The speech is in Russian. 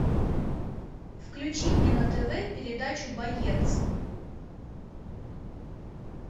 включи мне на тв передачу боец